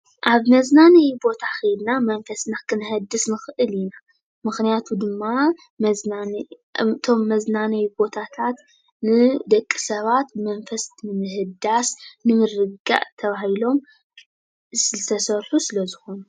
አብ መዝናነዪ ቦታ ከይድና መንፈስና ክነህድስ ንኽእል ኢና። ምክንያቱ ድማ እቶም መዝናነዪ ቦታታት ንደቂ ሰባት መንፈስ ንምህዳስ ንምርግጋእ ተባሂሎም ዝተሰርሑ ስለ ዝኾኑ።